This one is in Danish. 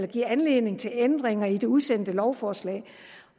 givet anledning til ændringer i det udsendte lovforslag